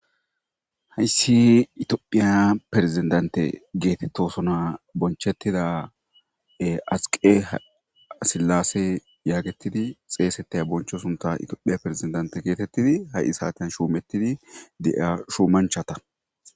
Hayssi itoophiya perezendante geetettosona bonchettida asiqe sillasse yaagettidi xeesettaya boncho sunta itiophiya perzendante geetettidi ha7i saaten shuumettidi de7a shuumanchata.